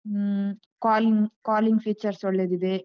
ಹ್ಮ್ calling calling features ಒಳ್ಳೆದಿದೆ.